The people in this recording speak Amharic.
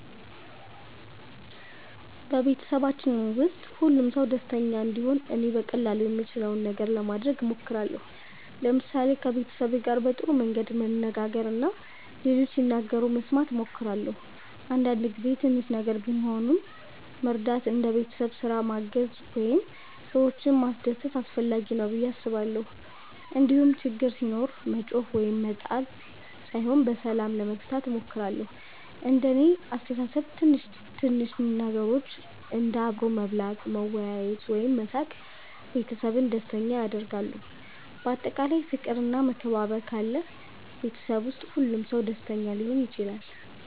በቤተሰባችን ውስጥ ሁሉም ሰው ደስተኛ እንዲሆን እኔ በቀላሉ የምችለውን ነገር ለማድረግ እሞክራለሁ። ለምሳሌ ከቤተሰቤ ጋር በጥሩ መንገድ መነጋገር እና ሌሎች ሲናገሩ መስማት እሞክራለሁ። አንዳንድ ጊዜ ትንሽ ነገር ቢሆንም መርዳት እንደ ቤት ስራ ማገዝ ወይም ሰዎችን ማስደሰት አስፈላጊ ነው ብዬ አስባለሁ። እንዲሁም ችግር ሲኖር መጮኽ ወይም መጣል ሳይሆን በሰላም ለመፍታት እሞክራለሁ። እንደ እኔ አስተሳሰብ ትንሽ ትንሽ ነገሮች እንደ አብሮ መብላት፣ መወያየት ወይም መሳቅ ቤተሰብን ደስተኛ ያደርጋሉ። በአጠቃላይ ፍቅር እና መከባበር ካለ ቤተሰብ ውስጥ ሁሉም ሰው ደስተኛ ሊሆን ይችላል።